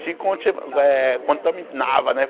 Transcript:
Te conti eh contaminava, né?